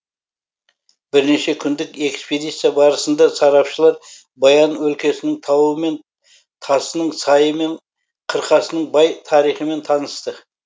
бірнеше күндік экспедиция барысында сарапшылар баян өлкесінің тауы мен тасының сайы мен қырқасының бай тарихымен танысты